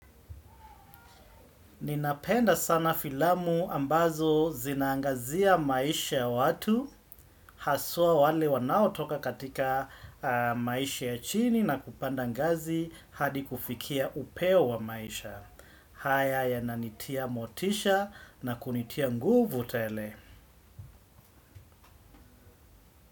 Ninapenda sana filamu ambazo zinaangazia maisha ya watu, haswa wale wanaotoka katika maisha ya chini na kupanda ngazi hadi kufikia upeo wa maisha. Haya yananitia motisha na kunitia nguvu tele.